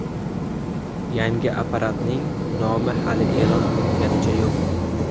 Yangi apparatning nomi hali e’lon qilinganicha yo‘q.